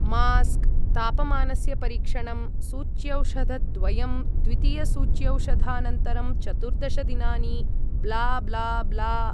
Mask, तापमानस्य परीक्षणं, सूच्यौषधद्वयं, द्वितीयसूच्यौषधानन्तरं चतुर्दश दिनानि, ब्ला ब्ला ब्ला।